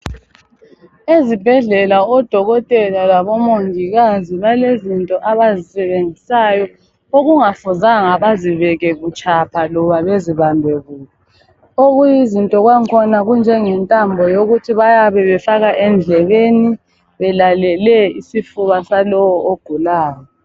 Ezibhedlela odokotela labomongikazi balezinto abazisebenzisayo okungafuzanga bazibeke butshapha loba bazibambe kubi. Okuyizinto kwakhona kunjenge ntambo yokuthi bayabe befaka endlebeni belalele isifuba salowo ogulayo.